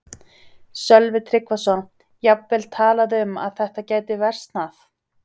Sölvi Tryggvason: Jafnvel talað um að þetta gæti versnað?